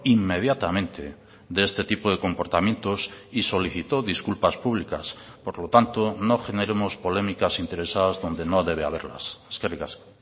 inmediatamente de este tipo de comportamientos y solicitó disculpas públicas por lo tanto no generemos polémicas interesadas donde no debe haberlas eskerrik asko